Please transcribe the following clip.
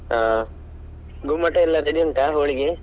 ಹಾ ಗುಮ್ಮಟ ಎಲ್ಲ ready ಉಂಟ ಹೋಳಿ ಗೆ?